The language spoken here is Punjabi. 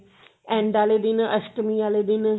end ਆਲੇ ਦਿਨ ਅਸ਼ਟਮੀ ਆਲੇ ਦਿਨ